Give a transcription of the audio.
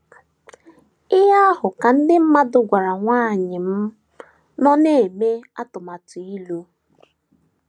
Ihe ahụ ka ndị mmadụ gwara nwanyị m nọ na - eme atụmatụ ịlụ.